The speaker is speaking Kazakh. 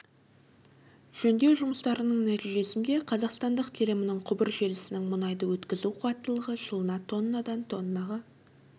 жөндеу жұмыстарының нәтижесінде қазақстандық телімінің құбыр желісінің мұнайды өткізу қуаттылығы жылына тоннадан тоннаға